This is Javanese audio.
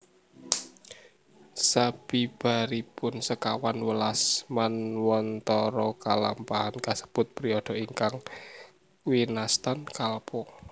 Sabibaripun sekawan welas Manwantara kalampahan kasebut periode ingkang winastan Kalpa